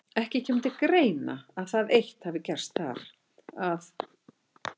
Ekki kemur til greina, að það eitt hafi gerst þar, að